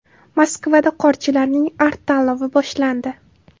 Moskvada qorchilarning Art-tanlovi boshlandi.